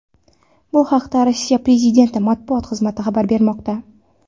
Bu haqda Rossiya prezidenti matbuot xizmati xabar bermoqda .